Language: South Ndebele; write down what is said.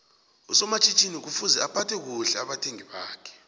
usomatjhinini kufuze aphathe kuhle abathengi bakhe